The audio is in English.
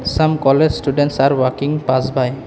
Some college students are walking pass by --